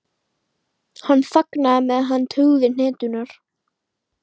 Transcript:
Hann þagnaði, meðan hann tuggði hneturnar.